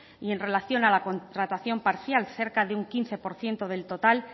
y en relación a la contratación parcial cerca de un quince por ciento del total